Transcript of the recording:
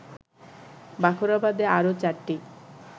বাখরাবাদে আরো ৪টি